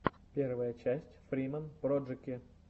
первая часть фриман проджэки